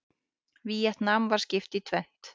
Víetnam var skipt í tvennt.